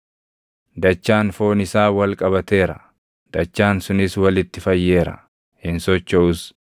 Dachaan foon isaa wal qabateera; dachaan sunis walitti fayyeera; hin sochoʼus.